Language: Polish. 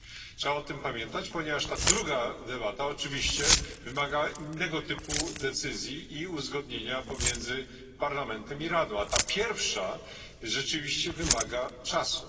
Trzeba o tym pamiętać, ponieważ ta druga debata oczywiście wymaga innego typu decyzji i uzgodnienia pomiędzy Parlamentem i Radą, a ta pierwsza rzeczywiście wymaga czasu.